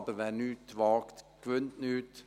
Wer aber nichts wagt, gewinnt nichts.